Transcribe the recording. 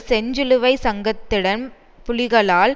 செஞ்சிலுவை சங்கத்திடம் புலிகளால்